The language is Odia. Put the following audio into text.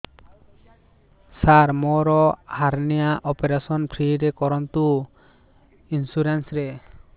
ସାର ମୋର ହାରନିଆ ଅପେରସନ ଫ୍ରି ରେ କରନ୍ତୁ ଇନ୍ସୁରେନ୍ସ ରେ